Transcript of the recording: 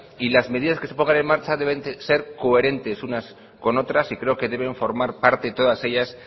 y las medidas que se pongan en marcha deben ser coherentes unas con otras y creo que deben formar parte todas ellas